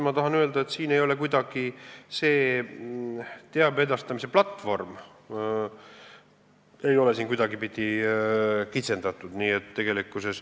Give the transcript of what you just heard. Ma tahan öelda, et siin ei ole see teabe edastamise platvorm kuidagi kitsendatud.